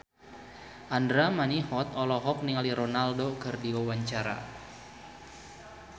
Andra Manihot olohok ningali Ronaldo keur diwawancara